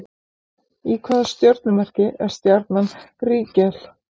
Í hvaða stjörnumerki er stjarnan Rígel?